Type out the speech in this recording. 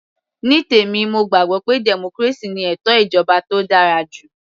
Ní tèmi mo gbàgbọ́ pé democracy ni ètò ìjọba tó dára jù